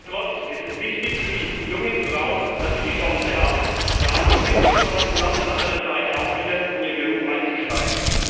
Nichtsdestotrotz ist es wichtig für die jungen Frauen, dass sie die Chance haben, Ja zum Kind zu sagen und auf der anderen Seite auch wieder in ihren Beruf einzusteigen.